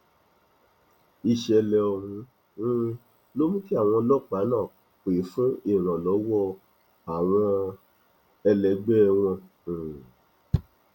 ìṣẹlẹ ọhún um ló mú kí àwọn ọlọpàá náà pẹ fún ìrànlọwọ àwọn ẹlẹgbẹ wọn um